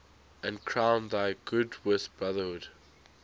and crown thy good with brotherhood